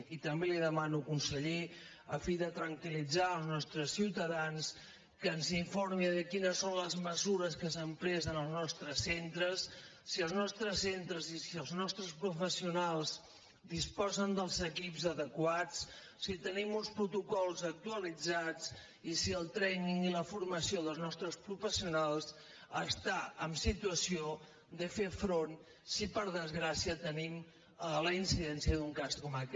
i també li demano conseller a fi de tranquil·litzar els nostres ciutadans que ens informi de quines són les mesures que s’han pres en els nostres centres si els nostres centres i si els nostres professionals disposen dels equips adequats si tenim uns protocols actualitzats i si el trainingonals està en situació de fer hi front si per desgràcia tenim la incidència d’un cas com aquest